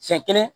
Siɲɛ kelen